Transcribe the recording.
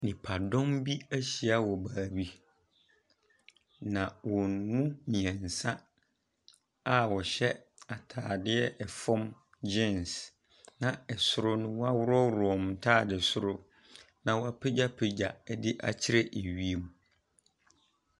Nnipadɔm bi ahyia wɔ baabi. Na wɔn mu mmeɛnsa a wɔhyɛ atadeɛ fam geans na soro no, wɔaworɔworɔ wɔn ntadeɛ soro na wɔapagyapagya ne akyerɛ wiem.